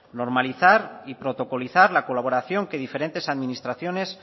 normalizar y protocolizar la colaboración que diferentes administraciones